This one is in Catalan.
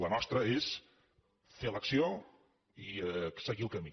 la nostra és fer l’acció i seguir el camí